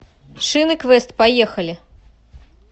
шины квест поехали